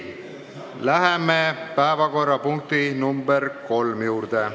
Läheme päevakorrapunkti nr 3 juurde.